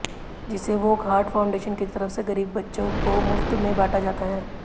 जिसे वोकहार्ट फाउंडेशन की तरफ से गरीब बच्चों को मुफ्त में बांटा जाता है